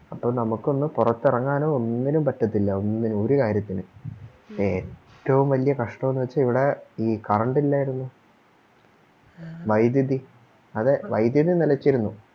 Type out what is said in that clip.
അപ്പൊ നമുക്കൊന്ന് പൊറത്തെറങ്ങാനോ ഒന്നിനും പറ്റത്തില്ല ഒന്നിനും ഒരു കാര്യത്തിനും ഏറ്റോം വല്യ കഷ്ട്ടൊന്ന് വെച്ച ഇവിടെ ഈ Current ഇല്ലാരുന്നു വൈദ്യുതി അതെ വൈദ്യുതി നിലച്ചിരുന്നു